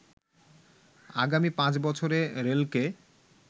আগামী ৫ বছরে রেলকে